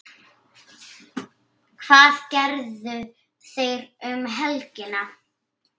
Hvað gerðu þeir um helgina?